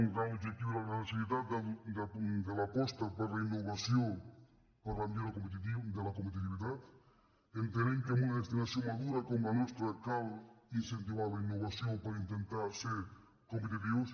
un gran objectiu era la necessitat de l’aposta per la innovació per a la millo·ra de la competitivitat entenent que en una destinació madura com la nostra cal incentivar la innovació per intentar ser competitius